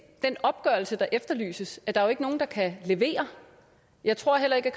den opgørelse der efterlyses er der jo ikke nogen der kan levere jeg tror heller ikke